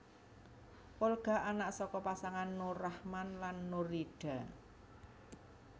Olga anak saka pasangan Nur Rachman lan Nurhida